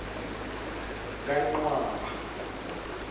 kancwaba